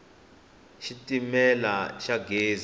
xitimela xa gezi